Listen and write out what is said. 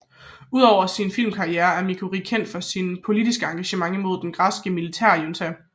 Ud over sin filmkarriere er Mercouri kendt for sit politiske engagement imod den græske militærjunta